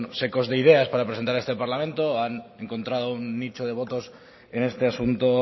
secos de ideas para presentar a este parlamento han encontrado un nicho de votos en este asunto